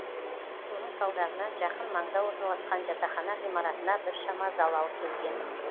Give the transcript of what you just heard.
соның салдарынан жақын маңда орналасқан жатақхана ғимаратына біршама залал келген